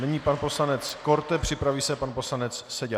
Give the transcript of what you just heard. Nyní pan poslanec Korte, připraví se pan poslanec Seďa.